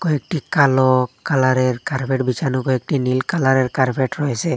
কয়েকটি কালো কালারের কার্পেট বিছানো কয়েকটি নীল কালারের কার্পেট রয়েছে।